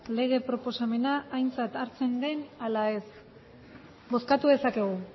lege proposamena aintzat hartzen den ala ez bozkatu dezakegu